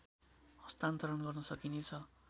हस्तान्तरण गर्न सकिनेछ